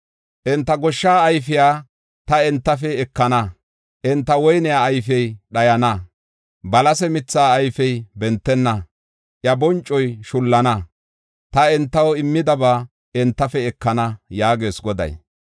Enta goshsha ayfiya ta entafe ekana. Enta woyne ayfey dhayana; balase mithaa ayfey bentenna. Iya boncoy shullana; ta entaw immidaba entafe ekana” yaagees Goday.